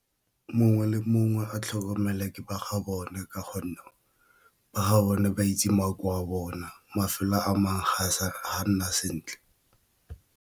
Mongwe le mongwe a tlhokomele ke ba ga bone ka gonne ba ga bone ba itse makoa a bona mafelo a mangwe ga nna sentle.